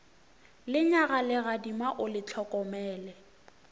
lenyaga legadima o le hlokomele